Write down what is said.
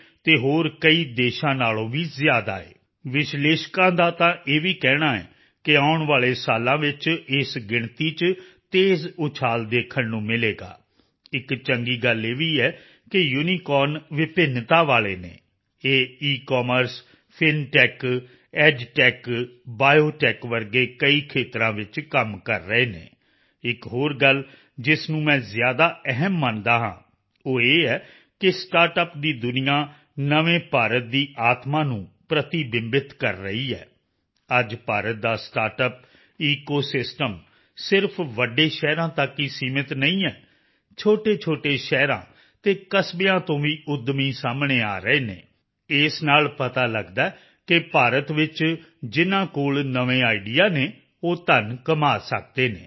ਅਤੇ ਹੋਰ ਕਈ ਦੇਸ਼ਾਂ ਨਾਲੋਂ ਵੀ ਜ਼ਿਆਦਾ ਹੈ ਵਿਸ਼ਲੇਸ਼ਕਾਂ ਦਾ ਤਾਂ ਇਹ ਵੀ ਕਹਿਣਾ ਹੈ ਕਿ ਆਉਣ ਵਾਲੇ ਸਾਲਾਂ ਵਿੱਚ ਇਸ ਗਿਣਤੀ ਚ ਤੇਜ਼ ਉਛਾਲ ਦੇਖਣ ਨੂੰ ਮਿਲੇਗਾ ਇੱਕ ਚੰਗੀ ਗੱਲ ਇਹ ਵੀ ਹੈ ਕਿ ਯੂਨੀਕੋਰਨ ਵਿਭਿੰਨਤਾ ਵਾਲੇ ਹਨ ਇਹ ਈਕਮਰਸ ਫਿਨਟੈਕ ਐਡਟੈਕ ਬਾਇਓਟੈਕ ਵਰਗੇ ਕਈ ਖੇਤਰਾਂ ਵਿੱਚ ਕੰਮ ਕਰ ਰਹੇ ਹਨ ਇੱਕ ਹੋਰ ਗੱਲ ਜਿਸ ਨੂੰ ਮੈਂ ਜ਼ਿਆਦਾ ਅਹਿਮ ਮੰਨਦਾ ਹਾਂ ਉਹ ਇਹ ਹੈ ਕਿ ਸਟਾਰਟਅੱਪ ਦੀ ਦੁਨੀਆ ਨਵੇਂ ਭਾਰਤ ਦੀ ਆਤਮਾ ਨੂੰ ਪ੍ਰਤੀਬਿੰਬਤ ਕਰ ਰਹੀ ਹੈ ਅੱਜ ਭਾਰਤ ਦਾ ਸਟਾਰਟਅੱਪ ਈਕੋਸਿਸਟਮ ਸਿਰਫ਼ ਵੱਡੇ ਸ਼ਹਿਰਾਂ ਤੱਕ ਹੀ ਸੀਮਿਤ ਨਹੀਂ ਹੈ ਛੋਟੇਛੋਟੇ ਸ਼ਹਿਰਾਂ ਅਤੇ ਕਸਬਿਆਂ ਤੋਂ ਵੀ ਉੱਦਮੀ ਸਾਹਮਣੇ ਆ ਰਹੇ ਹਨ ਇਸ ਨਾਲ ਪਤਾ ਲਗਦਾ ਹੈ ਕਿ ਭਾਰਤ ਵਿੱਚ ਜਿਨ੍ਹਾਂ ਕੋਲ ਨਵੇਂ ਆਈਡੀਆ ਹਨ ਉਹ ਧਨ ਕਮਾ ਸਕਦੇ ਹਨ